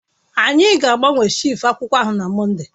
Anyi gaagbawe shef akwụkwọ ahụ na Mọnde